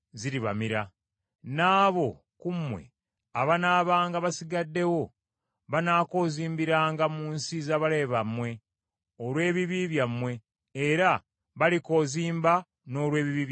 N’abo ku mmwe abanaabanga basigaddewo banaakoozimbiranga mu nsi z’abalabe bammwe olw’ebibi byabwe, era balikoozimba n’olw’ebibi bya bakitaabwe.